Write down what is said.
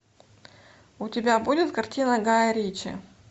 у тебя будет картина гая ричи